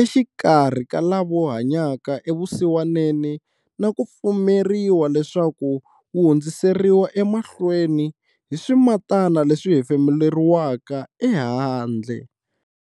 exikarhi ka lava hanyaka evusiwaneni na ku pfumeriwa leswaku wu hundziseriwa emahlweni hi swimatana leswi hefemuleriwaka ehandle.